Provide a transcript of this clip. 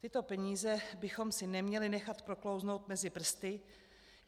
Tyto peníze bychom si neměli nechat proklouznout mezi prsty.